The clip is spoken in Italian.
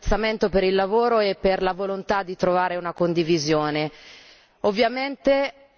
Quindi a lui va l'apprezzamento per il lavoro e per la volontà di trovare una condivisione.